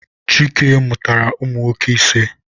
Chike mụrụ ụmụ nwoke ise.